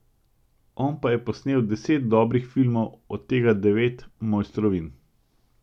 On pa je posnel deset dobrih filmov, od tega devet mojstrovin!